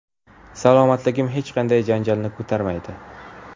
Salomatligim hech qanday janjalni ko‘tarmaydi.